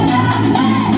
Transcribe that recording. Sən də!